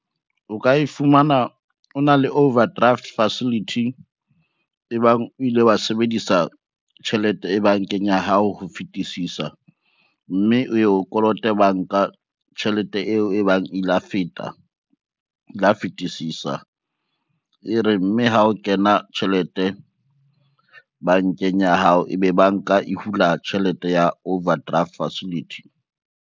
O ka e fumana o na le overdraft facility, e bang o ile wa sebedisa tjhelete bankeng ya hao ho fetisisa, mme o ye o kolote bank a tjhelete eo e bang e la fetisisa, e re mme ha o kena tjhelete bankeng ya hao, ebe banka e hula tjhelete ya overdraft facility.